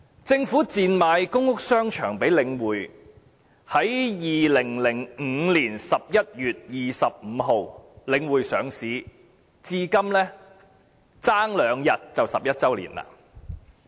政府賤賣公屋商場予領匯，由2005年11月25日領匯上市至今，差兩天便11周年。